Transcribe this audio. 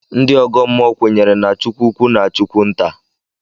Ndị ọgọ mmụọ kwenyere na chi ukwu na chi nta